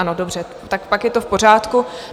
Ano, dobře, tak pak je to v pořádku.